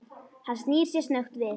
Hann snýr sér snöggt við.